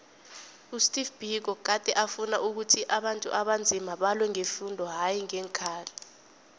usteve biko gade afuna ukhuthi abantu abanzima balwe ngefundo hayi ngeenkhali